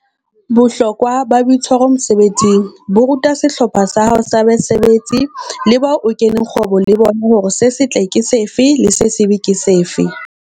Bohlokwa ba boitshwaro mosebetsing bo ruta sehlopha sa hao sa basebetsi le bao o keneng kgwebong le bona hore se setle ke sefe le se sebe ke sefe.